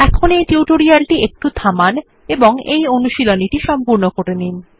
এখানে এই টিউটোরিয়াল টি একটু থামান এবং এই অনুশীলনীটি সম্পূর্ণ করুন